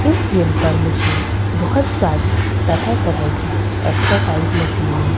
इस जिम पर मुझे बहोत सारी तरह तरह की एक्सरसाइज मशीने --